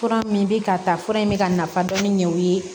Fura min bɛ ka ta fura in bɛ ka nafa dɔn ni ɲɛ o ye